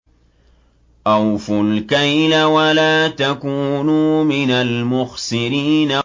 ۞ أَوْفُوا الْكَيْلَ وَلَا تَكُونُوا مِنَ الْمُخْسِرِينَ